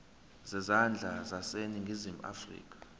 zezandla zaseningizimu afrika